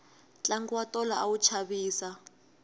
tlangu wa tolo a wu chavisa